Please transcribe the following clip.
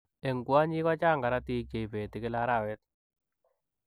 Eng kwonyiik, kochaang korotik cheipetii eng kila araweet.